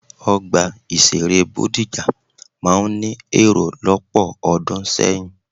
Ọgbà ìṣeré Bódìjà máa ń ní èrò lọ́pọ̀ ọdún sẹ́yìn.